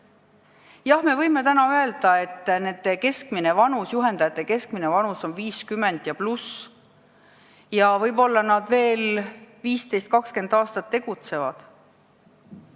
Jah, me võime täna öelda, et nende juhendajate keskmine vanus on 50+ ja võib-olla nad veel 15–20 aastat tegutsevad.